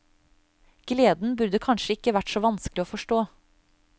Gleden burde kanskje ikke være så vanskelig å forstå.